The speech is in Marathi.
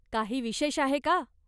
काही विशेष आहे का?